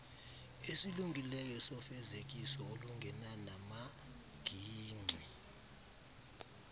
esilungileyo sofezekiso olungenanamagingxi